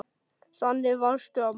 Þannig varstu, amma.